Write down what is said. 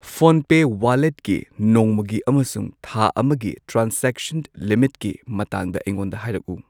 ꯐꯣꯟꯄꯦ ꯋꯥꯂꯦꯠꯀꯤ ꯅꯣꯡꯃꯒꯤ ꯑꯃꯁꯨꯡ ꯊꯥ ꯑꯃꯒꯤ ꯇ꯭ꯔꯥꯟꯖꯦꯛꯁꯟ ꯂꯤꯃꯤꯠꯀꯤ ꯃꯇꯥꯡꯗ ꯑꯩꯉꯣꯟꯗ ꯍꯥꯏꯔꯛꯎ꯫